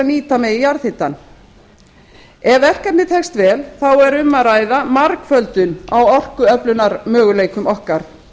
nýta megi jarðhitann ef verkefnið tekst vel er um að ræða margföldun á orkuöflunarmöguleikum okkar